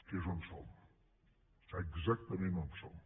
que és on som exactament on som